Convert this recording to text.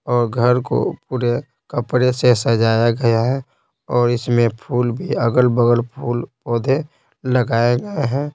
और घर को पूरे कपड़े से सजाया गया है और इसमें फूल भी अगल-बगल फूल पौधे लगाए गए हैं।